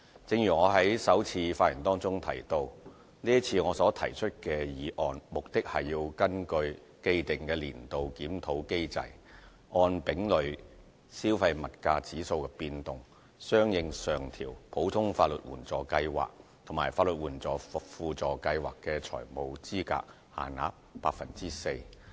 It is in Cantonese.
正如我在首次發言中提到，這次我所提出的議案，目的是根據既定年度檢討機制，按丙類消費物價指數的變動，相應上調普通法援計劃及法援輔助計劃的財務資格限額 4%。